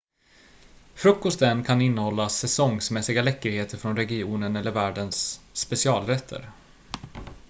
frukosten kan innehålla säsongsmässiga läckerheter från regionen eller värdens specialrätt